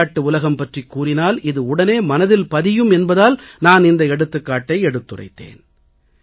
விளையாட்டு உலகம் பற்றிக் கூறினால் இது உடனே மனதில் பதியும் என்பதால் நான் இந்த எடுத்துக்காட்டை எடுத்துரைத்தேன்